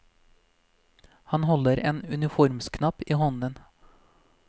Han holder en uniformsknapp i hånden.